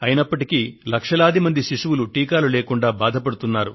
అయినప్పటికీ లక్షలాది మంది శిశువులు టీకాలు లేకుండా బాధపడుతున్నారు